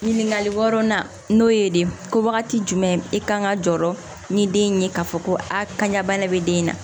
Ɲininkali wɔɔrɔnan n'o ye de ko wagati jumɛn i kan ka jɔ ni den ye k'a fɔ ko a kaɲa bana bɛ den na